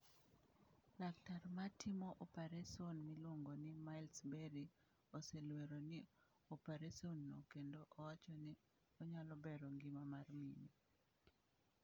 Laktar ma timo opareson miluongo ni Miles Berry oselwero ni operesonno kendo owacho ni onyalo bero ngima mar mine.